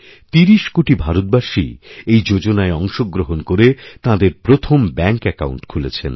৩০ কোটি ভারতবাসী এই যোজনায় অংশগ্রহণ করে তাঁদেরপ্রথম ব্যাঙ্ক অ্যাকাউণ্ট খুলেছেন